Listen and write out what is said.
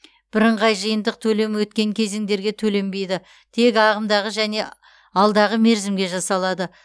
бірыңғай жиынтық төлем өткен кезеңдерге төленбейді тек ағымдағы және алдағы мерзімге жасалады